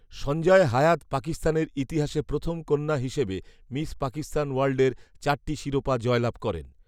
সঞ্জয় হায়াৎ পাকিস্তানের ইতিহাসে প্রথম কন্যা হিসেবে মিস পাকিস্তান ওয়ার্ল্ডের চারটি শিরোপা জয়লাভ করেন